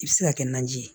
I bɛ se ka kɛ naji ye